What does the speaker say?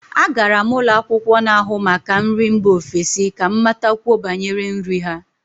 Agara m ụlọ akwụkwọ n'ahụ maka nri mba ofesi ka m matakwuo banyere nri ha